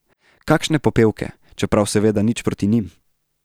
Kakšne popevke, čeprav seveda nič proti njim.